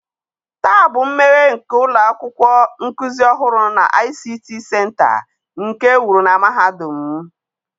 taa bụ mmeghe nke ụlọ akwụkwọ nkuzi ọhụrụ na ICT center nke e wuru na mahadum m.